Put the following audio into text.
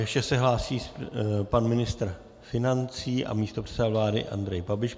Ještě se hlásí pan ministr financí a místopředseda vlády Andrej Babiš.